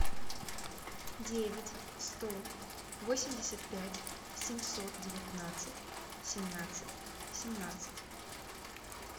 девять сто восемьдесят пять семьсот девятнадцать семнадцать семнадцать